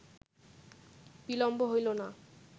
বিলম্ব হইল না